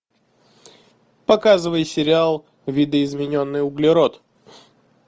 показывай сериал видоизмененный углерод